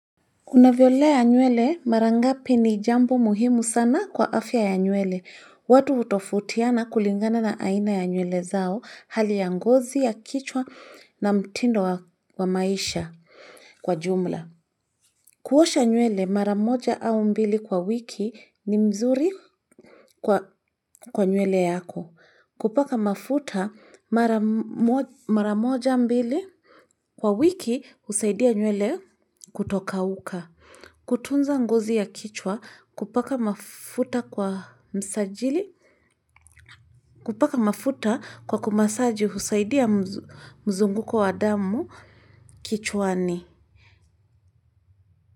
Unavyolea nywele mara ngapi ni jambo muhimu sana kwa afya ya nywele. Watu hutofautiana kulingana na aina ya nywele zao hali ya ngozi ya kichwa na mtindo wa maisha kwa jumla. Kuosha nywele mara moja au mbili kwa wiki ni mzuri kwa nywele yako. Kupaka mafuta mara moja mbili. Kwa wiki husaidia nywele kutokauka. Kutunza ngozi ya kichwa kupaka mafuta kwa kumasaji husaidia mzunguko wa damu kichwani.